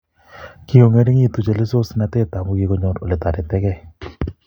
Kikongeringitu chelososnatet amui kikoyor oletoretekei